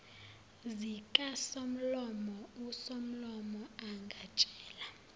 zikasomlomo usomlomo angatshela